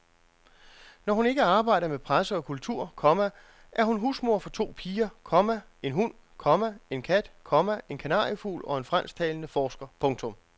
Når hun ikke arbejder med presse og kultur, komma er hun husmor for to piger, komma en hund, komma en kat, komma en kanariefugl og en fransktalende forsker. punktum